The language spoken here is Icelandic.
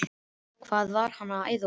Hvað var hann að æða út?